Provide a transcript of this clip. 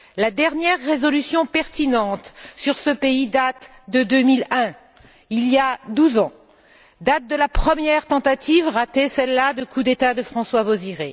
La dernière résolution pertinente sur ce pays date de 2001, il y a douze ans, date de la première tentative, ratée celle là, de coup d'État de François Bozizé.